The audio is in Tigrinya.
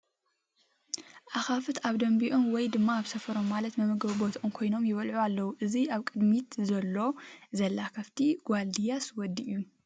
ኣኻፍት ኣብ ደምቢኦም ወይም ድማ ኣብ ሰፈሮም ማለት መመገቢ ቦቶኦም ኮይኖም ይበልዑ ኣለዉ ፡ እዚ ኣብ ቕድሚት ዘሎ /ላ ኸፍቲ ጓል ድያስ ወዲ እዩ ?